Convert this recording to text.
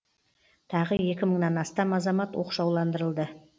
тағы екі мыңнан астам азамат оқшауландырылды